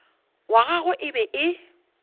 wa gagwe e be e